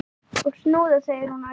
Og snúða! segir hún æst.